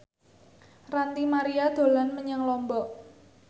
Ranty Maria dolan menyang Lombok